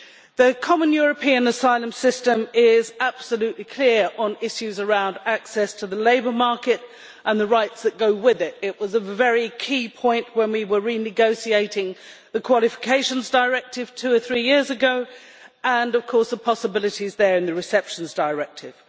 The common European asylum system is absolutely clear on issues around access to the labour market and the rights that go with it. It was a key point when we were renegotiating the Qualifications Directive two or three years ago, and of course the possibilities in that regard in the Receptions Directive.